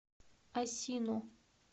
асино